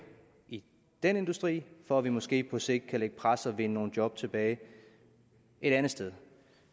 i den industri for at vi måske på sigt kan lægge et pres og vinde nogle job tilbage et andet sted